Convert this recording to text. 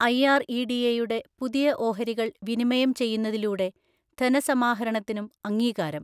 ഐആർഇഡിഎയുടെ പുതിയ ഓഹരികൾ വിനിമയം ചെയ്യുന്നതിലൂടെ ധനസമാഹരണത്തിനും അംഗീകാരം